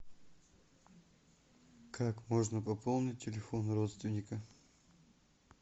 как можно пополнить телефон родственника